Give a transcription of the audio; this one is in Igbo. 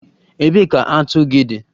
Ebee ka atu gị dị?